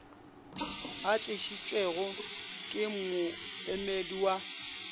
a tlišitšwego ke moemedi wa